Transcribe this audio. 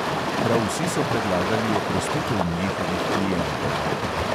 Prav vsi so predlagali oprostitev njihovih klientov.